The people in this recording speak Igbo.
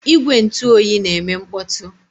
Igwe ntụ oyi na-eme mkpọtụ.